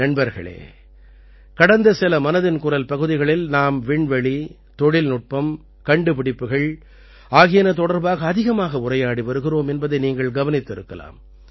நண்பர்களே கடந்த சில மனதின் குரல் பகுதிகளில் நாம் விண்வெளி தொழில்நுட்பம் கண்டுபிடிப்புகள் ஆகியன தொடர்பாக அதிகமாக உரையாடி வருகிறோம் என்பதை நீங்கள் கவனித்திருக்கலாம்